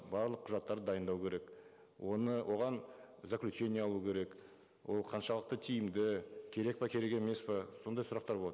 барлық құжаттарды дайындау керек оны оған заключение алу керек ол қаншалықты тиімді керек пе керек емес пе сондай сұрақтар болады